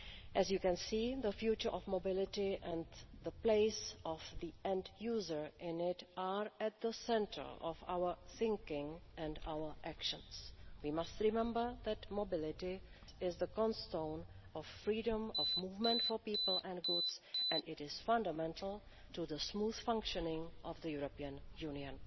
As you can see, the future of mobility and the place of the end user in it are at the centre of our thinking and our actions. We must remember that mobility is the cornerstone of freedom of movement for people and goods, and it is fundamental to the smooth functioning of the European Union.